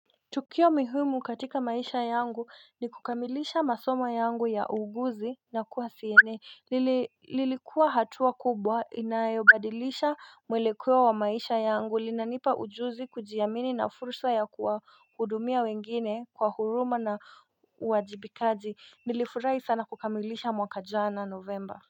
Tukio muhimu katika maisha yangu ni kukamilisha masoma yangu ya uguzi na kuwa siene lilikuwa hatua kubwa inayobadilisha mwelekeo wa maisha yangu. Linanipa ujuzi kujiamini na fursa ya kuwa hudumia wengine kwa huruma na wajibikaji nilifurahi sana kukamilisha mwaka jana novemba.